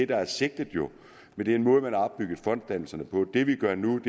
der er sigtet med den måde man har opbygget fonddannelserne på det vi gør nu